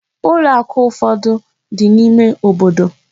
Ụlọ akụ ụfọdụ dị n'ime obodo.